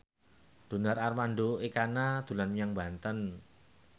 Donar Armando Ekana dolan menyang Banten